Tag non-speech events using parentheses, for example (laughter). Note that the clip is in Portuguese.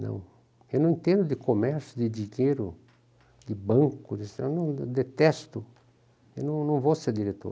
Não, eu não entendo de comércio, de de dinheiro, de banco, (unintelligible) eu não, eu detesto, eu não não vou ser diretor.